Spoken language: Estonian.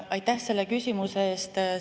Aitäh selle küsimuse eest!